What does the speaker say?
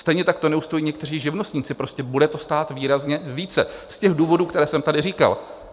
Stejně tak to neustojí někteří živnostníci, prostě bude to stát výrazně více z těch důvodů, které jsem tady říkal.